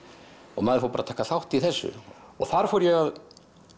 og maður fór bara að taka þátt í þessu og þar fór ég að